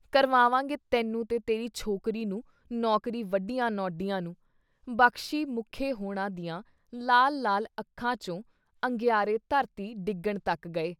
“ਕਰਵਾਵਾਂਗੇ ਤੈਨੂੰ ਤੇ ਤੇਰੀ ਛੋਕਰੀ ਨੂੰ ਨੌਕਰੀ ਵੱਡੀਆਂ ਨਉਢੀਆਂ ਨੂੰ !” ਬਖ਼ਸ਼ੀ, ਮੁੱਖੇ ਹੋਣਾ ਦੀਆਂ ਲਾਲ ਲਾਲ ਅੱਖਾਂ ਚੋਂ ਅੰਗਿਆਰੇ ਧਰਤੀ ਡਿੱਗਣ ਤੱਕ ਗਏ।